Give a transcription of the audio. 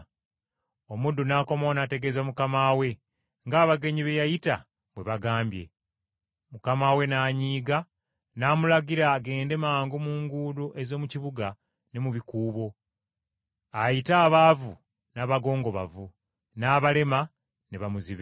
“Omuddu n’akomawo n’ategeeza mukama we ng’abagenyi be yayita bwe bagambye. Mukama we n’anyiiga, n’amulagira agende mangu mu nguudo ez’omu kibuga ne mu bikubo, ayite abaavu n’abagongobavu, n’abalema, ne bamuzibe.